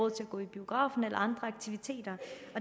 at gå i biografen i andre aktiviteter